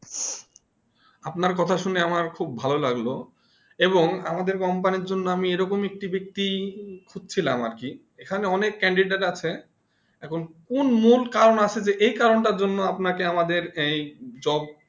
আপনার কথা শুনে আম খুব ভালো লাগলো এবং আমাদের Company জন্য আমি এমন একটি ব্যাক্তি খুঁজছিলাম আর কি এখানে অনেক candidate আছে এখন কোন মূল কারণ আছে দেখে এই কারণ তা জন্য আপনাকে এই job